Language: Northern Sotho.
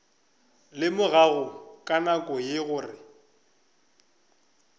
lemogago ka nako ye gore